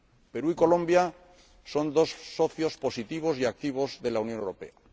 El Perú y Colombia son dos socios positivos y activos de la Unión Europea.